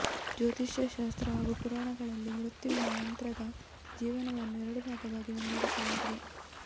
ಜ್ಯೋತಿಷ್ಯ ಶಾಸ್ತ್ರ ಹಾಗೂ ಪುರಾಣಗಳಲ್ಲಿ ಮೃತ್ಯುವಿನ ನಂತ್ರದ ಜೀವನವನ್ನು ಎರಡು ಭಾಗವಾಗಿ ವಿಂಗಡಿಸಲಾಗಿದೆ